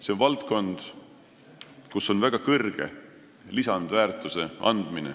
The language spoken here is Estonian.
See on valdkond, kus on võimalik saavutada väga suur lisandväärtus.